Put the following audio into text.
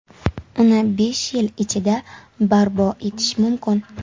Uni besh yil ichida barpo etish mumkin.